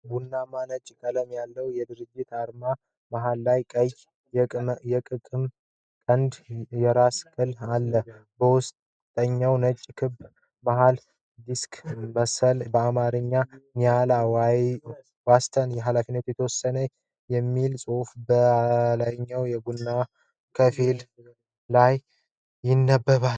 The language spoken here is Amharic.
ቡናማና ነጭ ቀለማት ያለው የድርጅት አርማ መሃል ላይ ቀይ የቅቅም ቀንድና የራስ ቅል አለ። በውስጠኛው ነጭ ክብ መሃል ዲስክ ሲመስል፣ በአማርኛ "ኒያላ ዋስትና ኃ.የተ.የ.ማ." የሚል ጽሑፍ በላይኛው ቡናማ ከፊል ክብ ላይ ይነበባል።